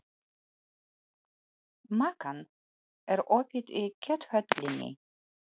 Makan, er opið í Kjöthöllinni?